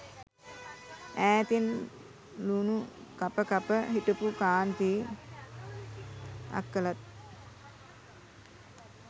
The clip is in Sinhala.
ඈතින් ලූණු කප කප හිටපු කාන්ති අක්කලත්